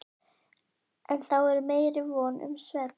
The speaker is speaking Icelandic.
En þá er meiri von um svefn.